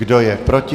Kdo je proti?